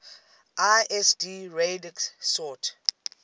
lsd radix sort